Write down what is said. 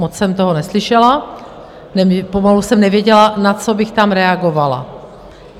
Moc jsem toho neslyšela, pomalu jsem nevěděla, na co bych tam reagovala.